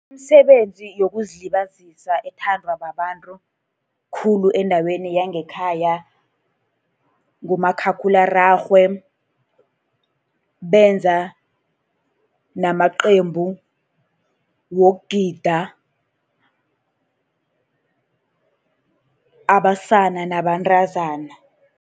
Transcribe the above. Imisebenzi yokuzilibazisa ethandwa babantu khulu endaweni yangekhaya ngumakhakhulwararhwe, benza namaqembu wokugida, abasana nabantazana.